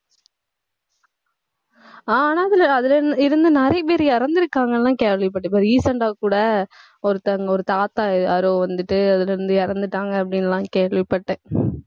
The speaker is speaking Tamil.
ஆஹ் ஆனா அதுல அதுல இருந்த நிறைய பேர் இறந்துருக்காங்கன்னு எல்லாம் கேள்விப்பட்டேன். இப்ப recent ஆ கூட, ஒருத்தவங்க, ஒரு தாத்தா யாரோ வந்துட்டு அதிலிருந்து இறந்துட்டாங்க அப்படின்னு எல்லாம் கேள்விப்பட்டேன்